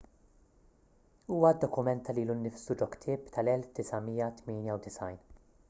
huwa ddokumenta lilu nnifsu ġo ktieb tal-1998